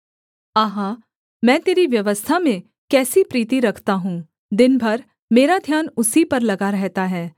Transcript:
आहा मैं तेरी व्यवस्था में कैसी प्रीति रखता हूँ दिन भर मेरा ध्यान उसी पर लगा रहता है